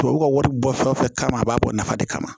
Tubabu ka wari bɔ fɛn o fɛn kama a b'a bɔ nafa de kama